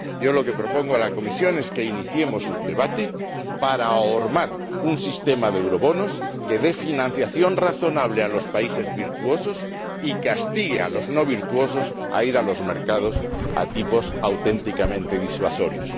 Yo lo que propongo a la Comisión es que iniciemos un debate para ahormar un sistema de euroobligaciones que dé financiación razonable a los países virtuosos y castigue a los no virtuosos a ir a los mercados a tipos auténticamente disuasorios.